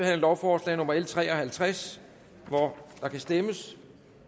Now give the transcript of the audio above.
af lovforslag nummer l tre og halvtreds og der kan stemmes